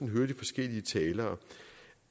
hører de forskellige talere